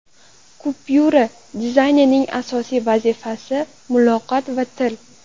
Kupyura dizaynining asosiy vazifasi – muloqot va til.